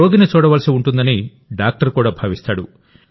రోగిని చూడవలసి ఉంటుందని డాక్టర్ కూడా భావిస్తాడు